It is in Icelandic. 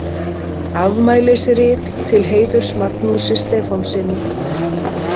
Afmælisrit til heiðurs Magnúsi Stefánssyni.